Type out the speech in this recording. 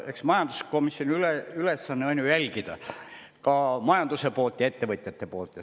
Eks majanduskomisjoni ülesanne on ju jälgida ka majanduse poolt ja ettevõtjate poolt.